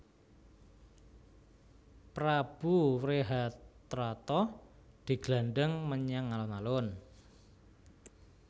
Prabu Wrehatrata diglandhang menyang alun alun